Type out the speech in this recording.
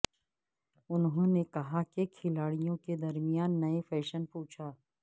انہوں نے کہا کہ کھلاڑیوں کے درمیان نئے فیشن پوچھا